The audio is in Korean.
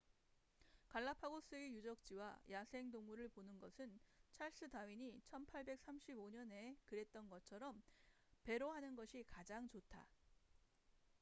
갈라파고스의 유적지와 야생동물을 보는 것은 찰스 다윈이 1835년에 그랬던 것처럼 배로 하는 것이 가장 좋다